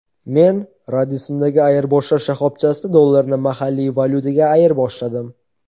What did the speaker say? Men Radisson’dagi ayirboshlash shoxobchasida dollarni mahalliy valyutaga ayirboshladim.